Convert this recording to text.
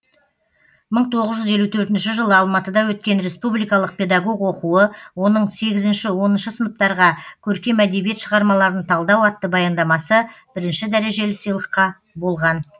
мың тоғыз жүз елу төртінші жылы алматыда өткен республикалық педагог оқуы оның сегізінші оныншы сыныптарға көркем әдебиет шығармаларын талдау атты баяндамасы бірінші дәрежелі сыйлыққа болған